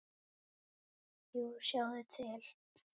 Jú, sjáðu til!